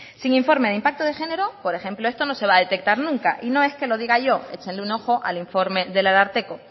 sin informe de impacto de género por ejemplo esto no se va a detectar nunca y no es que lo diga yo échenle un ojo al informe del ararteko